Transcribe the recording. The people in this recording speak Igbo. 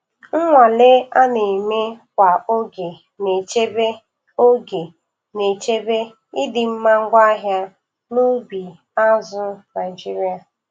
Nnwale a na-eme kwa oge na-echebe oge na-echebe ịdịmma ngwaahịa n'ubi azụ̀ Naịjiria.